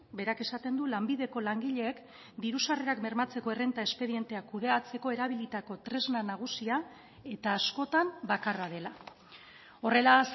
berak esaten du lanbideko langileek diru sarrerak bermatzeko errenta espedienteak kudeatzeko erabilitako tresna nagusia eta askotan bakarra dela horrela